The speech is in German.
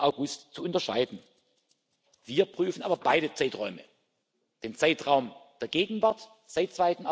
2. August zu unterscheiden. Wir prüfen aber beide Zeiträume, den Zeitraum der Gegenwart seit